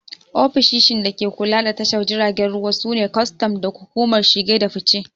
Ofishishin da ke kula da tashar jiragen ruwa su ne kwastam da hukumar shige da fice